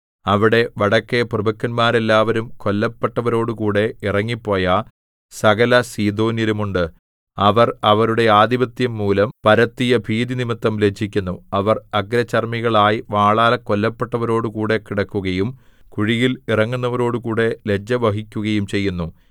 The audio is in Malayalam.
അവിടെ വടക്കെ പ്രഭുക്കന്മാരെല്ലാവരും കൊല്ലപ്പെട്ടവരോടുകൂടെ ഇറങ്ങിപ്പോയ സകല സീദോന്യരും ഉണ്ട് അവർ അവരുടെ ആധിപത്യം മൂലം പരത്തിയ ഭീതിനിമിത്തം ലജ്ജിക്കുന്നു അവർ അഗ്രചർമ്മികളായി വാളാൽ കൊല്ലപ്പെട്ടവരോടുകൂടെ കിടക്കുകയും കുഴിയിൽ ഇറങ്ങുന്നവരോടുകൂടെ ലജ്ജ വഹിക്കുകയും ചെയ്യുന്നു